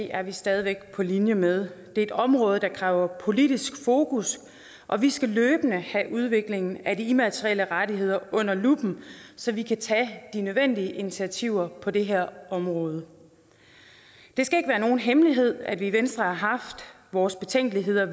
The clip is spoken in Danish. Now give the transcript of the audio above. er vi stadig væk på linje med det er et område der kræver politisk fokus og vi skal løbende have udviklingen af de immaterielle rettigheder under luppen så vi kan tage de nødvendige initiativer på det her område det skal ikke være nogen hemmelighed at vi i venstre har haft vores betænkeligheder og